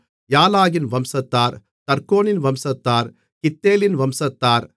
யாலாகின் வம்சத்தார் தர்கோனின் வம்சத்தார் கித்தேலின் வம்சத்தார்